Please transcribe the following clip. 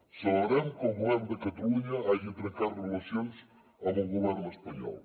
celebrem que el govern de catalunya hagi trencat relacions amb el govern espanyol